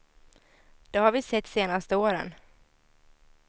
Det har vi sett senaste åren.